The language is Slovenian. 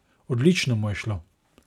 Odlično mu je šlo!